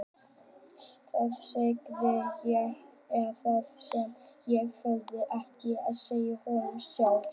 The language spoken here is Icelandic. Þar sagði ég það sem ég þorði ekki að segja honum sjálf.